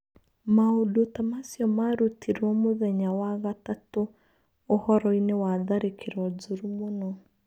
Maũndũta macio marutirwo mũthenya wa gatatũũhoroinĩ wa tharĩkĩro njũru mũno.